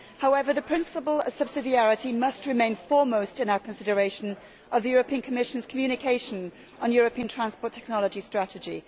However, the principle of subsidiarity must remain foremost in our consideration of the Commission's communication on European transport technology strategy.